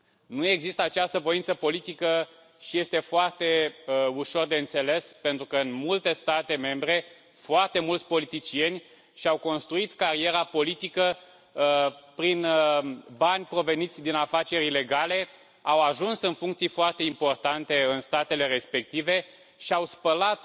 Nu există această voință politică și este foarte ușor de înțeles, pentru că în multe state membre foarte mulți politicieni și au construit cariera politică prin bani proveniți din afaceri ilegale, au ajuns în funcții foarte importante în statele respective și au spălat